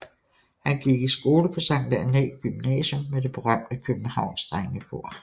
Han gik i skole på Sankt Annæ Gymnasium med det berømte Københavns drengekor